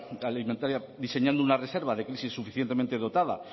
alimentaria diseñando una reserva de crisis suficientemente dotada